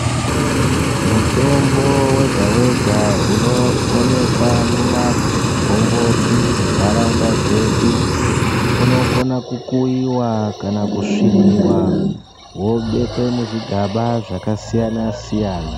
Mutombo wega wega unowonekwa mumangomboti, muntarawunda dzedu unokona kukuyiwa ,kana kusviniwa ,wobekwe muzvigaba zvakasiyana siyana.